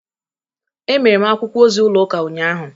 Emere m akwụkwọ ozi ụlọ ụka ụnyahụ.